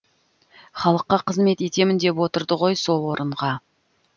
халыққа қызмет етемін деп отырды ғой сол орынға